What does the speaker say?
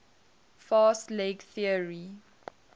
fast leg theory